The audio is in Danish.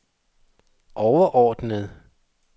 overordnede